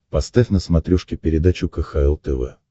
поставь на смотрешке передачу кхл тв